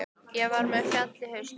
Ég var með fjall á hausnum.